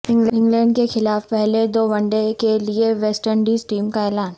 England کیخلاف پہلے دو ونڈے کیلئے ویسٹ انڈیز ٹیم کا اعلان